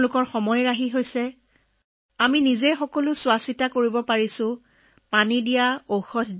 আমি পানী ঔষধ আমাৰ লগত ৰাখোঁ মাত্ৰ আহি আমাৰ মাটি কৰ পৰা কলৈ দেখুৱাব লাগে